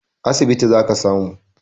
A asibiti zaka samu